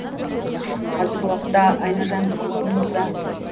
қазіргі уақытта айнажан біздің қолымызда